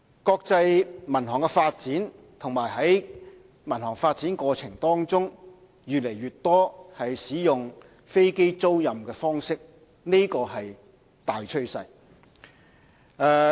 國際民航發展和在民航發展過程當中，越來越多使用飛機租賃方式，這是大趨勢。